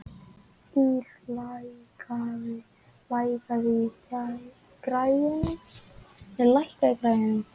Ýr, lækkaðu í græjunum.